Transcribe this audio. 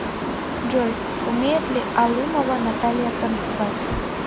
джой умеет ли алымова наталья танцевать